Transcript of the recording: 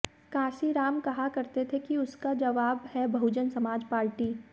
कांशीराम कहा करते थे कि उसका जवाब है बहुजन समाज पार्टी